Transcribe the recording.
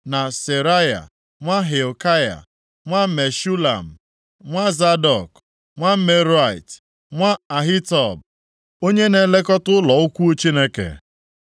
na Seraya nwa Hilkaya, nwa Meshulam, nwa Zadọk, nwa Meraiot, nwa Ahitub onye na-elekọta ụlọ ukwuu Chineke.